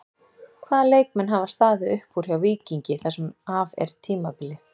Hvaða leikmenn hafa staðið upp úr hjá Víkingi það sem af er tímabili?